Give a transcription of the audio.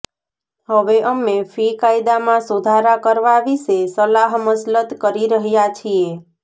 હવે અમે ફી કાયદામાં સુધારા કરવા વિશે સલાહમસલત કરી રહ્યા છીએ